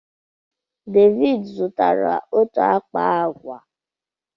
Devid zụtara otu akpa agwa.